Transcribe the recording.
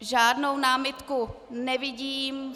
Žádnou námitku nevidím.